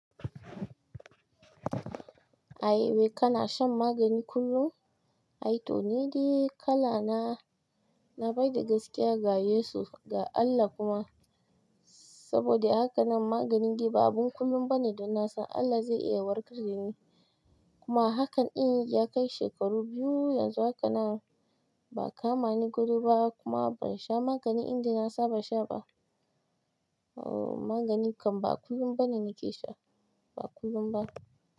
Ai wai kana shan magani kullum? Aito nidai kalana nabada gaskiya ga Yesu, ga Allah kuma saboda haka nan maganin dai ba abin kullum ba ne da na san Allah zai iya warkar da ni. Kuma a hakan in ya kai shekaru biyu yanzu haka nan. Ba kama ni gado ba kuma ban sha magani inda na saba sha ba. Ooh, maganin k ba kullum ba ne nake sha, ba kullum ba.